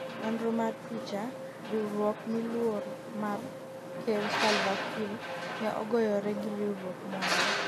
nonro mar picha, riwruok mmiluor mar ker Salva Kiir ne ogoyore gi riwruok moro